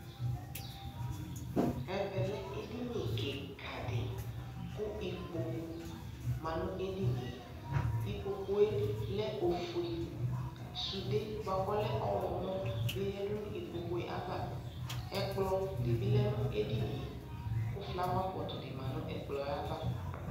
ɛvɛ lɛ ɛdini kikaa di kʋ ikpɔkʋ manʋ ɛdiniɛ, ikpɔkʋɛ lɛ ɔƒʋɛ, sʋdɛ bʋakʋ ɔlɛ ɔwlɔmɔ bi yɛdʋ nʋ ikpɔkʋɛ aɣa, ɛkplɔ dibi lɛnʋ ɛdiniɛ kʋ flower pot di manʋ ɛkplɔɛ aɣa